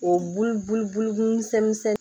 O bulu bulu bulu misɛn misɛn